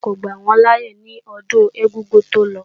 Wọ́n kò gbà wọ́n láyé ní ọdún ẹ̀gúngún tó lọ